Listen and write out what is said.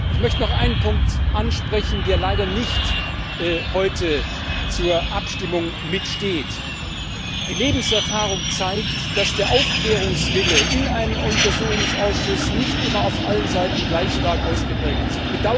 Ich möchte noch einen Punkt ansprechen, der heute leider nicht zur Abstimmung steht Die Lebenserfahrung zeigt, dass der Aufklärungswille in einem Untersuchungssausschuss nicht immer auf allen Seiten gleich stark ausgeprägt ist.